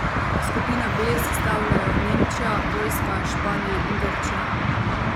Skupino B sestavljajo Nemčija, Poljska, Španija in Grčija.